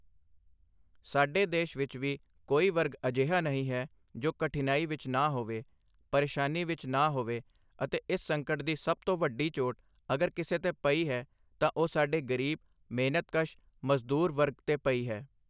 ਸਾਡੇ ਦੇਸ਼ ਵਿੱਚ ਵੀ ਕੋਈ ਵਰਗ ਅਜਿਹਾ ਨਹੀਂ ਹੈ ਜੋ ਕਠਿਨਾਈ ਵਿੱਚ ਨਾ ਹੋਵੇ, ਪਰੇਸ਼ਾਨੀ ਵਿੱਚ ਨਾ ਹੋਵੇ ਅਤੇ ਇਸ ਸੰਕਟ ਦੀ ਸਭ ਤੋਂ ਵੱਡੀ ਚੋਟ, ਅਗਰ ਕਿਸੇ ਤੇ ਪਈ ਹੈ, ਤਾਂ ਉਹ ਸਾਡੇ ਗ਼ਰੀਬ, ਮਿਹਨਤਕਸ਼, ਮਜ਼ਦੂਰ ਵਰਗ ਤੇ ਪਈ ਹੈ।